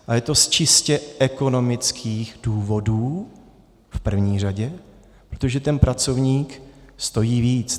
A je to z čistě ekonomických důvodů v první řadě, protože ten pracovník stojí víc.